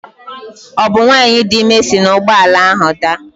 Ọ bụ nwanyị dị ime si na Igbo ala ahụ daa?